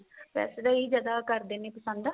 ਵੈਸੇ ਤਾਂ ਇਹੀ ਜਿਆਦਾ ਕਰਦੇ ਨੇ ਪਸੰਦ